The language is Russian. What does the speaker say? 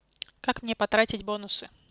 как мне потратить бонусы